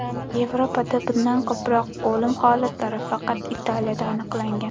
Yevropada bundan ko‘proq o‘lim holatlari faqat Italiyada aniqlangan.